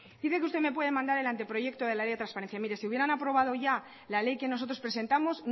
dice que usted me puede mandar el anteproyecto de la ley de transparencia mire si hubieran aprobado ya la ley que nosotros presentamos